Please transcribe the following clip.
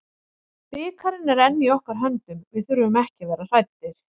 Bikarinn er enn í okkar höndum, við þurfum ekki að vera hræddir.